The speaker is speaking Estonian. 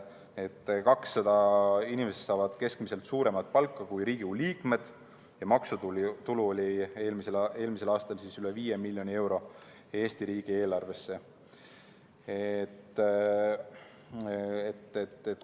Need 200 inimest saavad suuremat palka kui Riigikogu liikmed ja maksutulu tuli eelmisel aastal üle 5 miljoni euro Eesti riigieelarvesse.